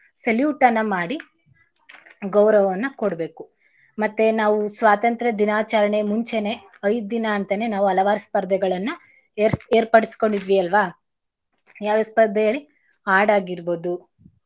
Salute ಅನ್ನ ಮಾಡಿ ಗೌರವವನ್ನಾಕೊಡ್ಬೇಕು. ಮತ್ತೇ ನಾವು ಸ್ವಾತಂತ್ರ ದಿನಾಚಾರಣೆ ಮುಂಚೆನೆ ಐದ್ ದಿನಾ ಅಂತಾನೆ ನಾವು ಹಲವಾರು ಸ್ಪರ್ಧೆಗಳನ್ನ ಏರ್ಸ್~ ಏರ್ಪಡಿಸ್ಕೋಂಡಿದ್ವಿ ಅಲ್ವಾ ಯಾವ್ಯವ್ ಸ್ಪರ್ಧೆ ಹೇಳಿ? ಹಾಡಾಗಿರ್ಬೋದು,